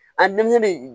A